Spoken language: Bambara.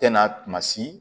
Tɛ na kuma si